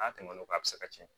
N'a tɛmɛn'o kan a bɛ se ka cɛn